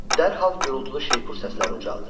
Dərhal gürultulu şeypur səsləri ucaldı.